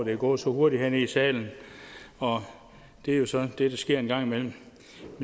er gået så hurtigt hernede i salen og det er jo så det der sker en gang imellem